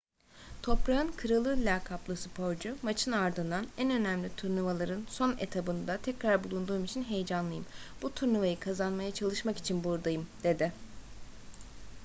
toprağın kralı lakaplı sporcu maçın ardından en önemli turnuvaların son etabında tekrar bulunduğum için heyecanlıyım bu turnuvayı kazanmaya çalışmak için buradayım dedi